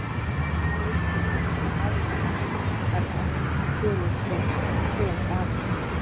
Erfitt reyndist að finna nákvæmar stofnstærðar tölur fyrir einstaka tegundir apa.